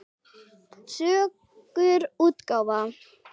Sögur útgáfa.